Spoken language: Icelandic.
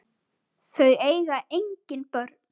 Þau eiga engin börn.